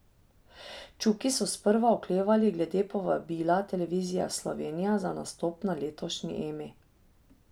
Čuki so sprva oklevali glede povabila Televizije Slovenija za nastop na letošnji Emi.